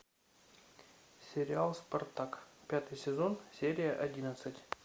сериал спартак пятый сезон серия одиннадцать